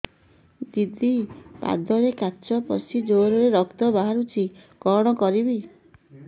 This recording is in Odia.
ଦିଦି ପାଦରେ କାଚ ପଶି ଜୋରରେ ରକ୍ତ ବାହାରୁଛି କଣ କରିଵି